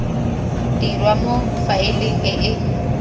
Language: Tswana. dirwa mo faeleng e e